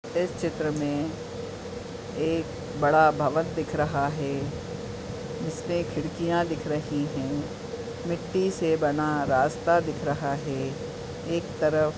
इस चित्र में एक बड़ा भवन दिख रहा है इसपे खिड़किया दिख रही हैं | मिट्टी से बना रास्ता दिख रहा है| एक तरफ --